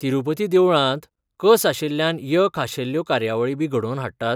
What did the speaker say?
तिरूपती देवळांत कसआशिल्ल्यान य खाशेल्यो कार्यावळी बी घडोवन हाडटात?